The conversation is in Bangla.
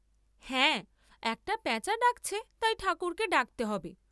হ্যা একটা পেঁচা ডাক্‌ছে তাই ঠাকুরকে ডাকতে হবে!